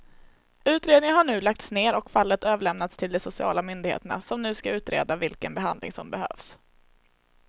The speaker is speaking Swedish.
Utredningen har nu lagts ner och fallet överlämnats till de sociala myndigheterna som ska utreda vilken behandling som behövs.